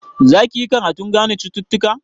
Za ki yi karatun gane cututtuka?